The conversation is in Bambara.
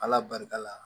Ala barika la